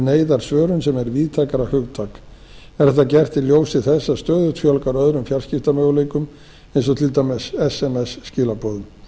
neyðarsvörun sem er víðtækara hugtak er þetta gert í ljósi þess að stöðugt fjölgar öðrum fjarskiptamöguleikum eins og til dæmis sms